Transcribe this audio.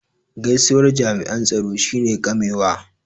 gaisuwar jami' an tsaro shi ne ƙamewa